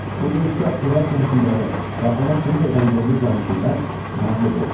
Bu döyüşdə Urartu hökmdarı və ona kömək edən yerli canişinlər məğlub oldular.